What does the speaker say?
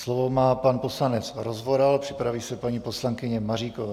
Slovo má pan poslanec Rozvoral, připraví se paní poslankyně Maříková.